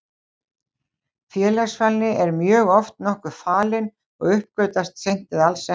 Félagsfælni er mjög oft nokkuð falin og uppgötvast seint eða alls ekki.